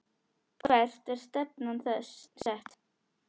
Hvert er stefnan sett?